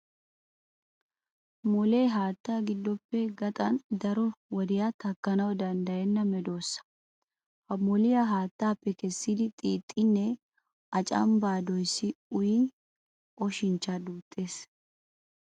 Molee haatta giddoppe gaxan daro wodiya takkanawu danddayenna medossa. Ha moliyaa haattaappe kessidi xiixxiininne a canbbaa doyissidi uyin oshinchcha duuttees.